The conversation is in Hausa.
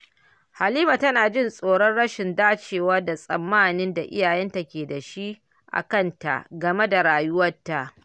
Halima tana jin tsoron rashin dacewa da tsammanin da iyayenta ke da shi a kanta game da rayuwarta.